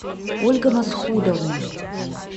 ольга масхудовна